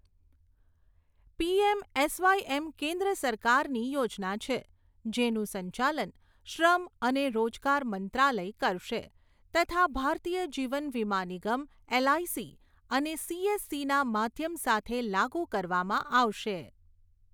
PM SYM કેન્દ્ર સરકારની યોજના છે, જેનું સંચાલન શ્રમ અને રોજગાર મંત્રાલય કરશે તથા ભારતીય જીવન વીમા નિગમ એલઆઈસી અને સીએસસીના માધ્યમ સાથે લાગુ કરવામાં આવશે.